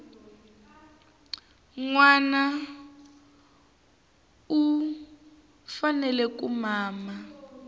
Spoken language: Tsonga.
nwana u fanele ku mama